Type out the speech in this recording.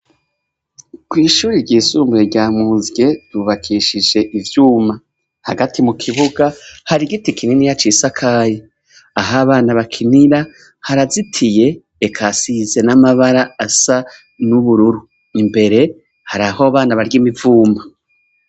Kw'ishure ryisumbuye rya Muzye bubakishije ivyuma. Hagati mu kibuga hari igiti kininiya cisakaye. Aho abana bakinira harazitiye eka hasize n'amabara asa n'ubururu. Imbere haraho abana barya imivuma.